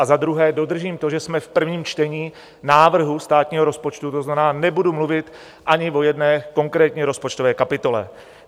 A za druhé dodržím to, že jsme v prvním čtení návrhu státního rozpočtu, to znamená, nebudu mluvit ani o jedné konkrétní rozpočtové kapitole.